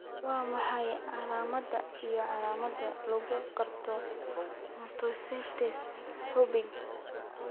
Waa maxay calaamadaha iyo calaamadaha lagu garto mastocytosis xuubka?